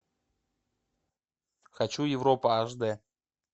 хочу европа аш дэ